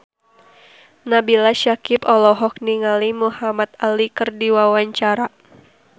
Nabila Syakieb olohok ningali Muhamad Ali keur diwawancara